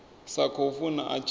sa khou funa a tshi